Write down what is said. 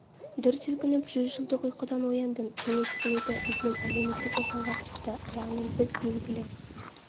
дүр сілкініп жүз жылдық ұйқыдан ояндым кеңес үкіметі бізден әлеуметтік жасауға тырысты яғни біз белгілі